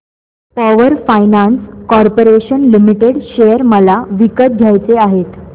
power finance corporation limited share मला विकत घ्यायचे आहेत